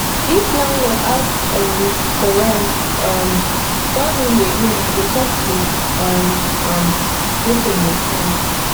if landlord ask um for rent um suddenly again i go talk to um am make e understand